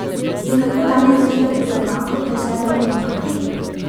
In kako danes doživljate skovanko Prešernovi pankrti?